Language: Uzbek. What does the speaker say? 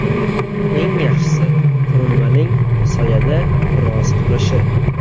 Eng yaxshisi, qurilmaning soyada biroz turishi.